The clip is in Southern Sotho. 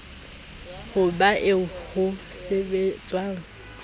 ho ba eo ho sebetswang